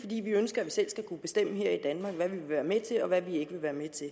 fordi vi ønsker at vi selv skal kunne bestemme her i danmark hvad vi vil være med til og hvad vi ikke vil være med til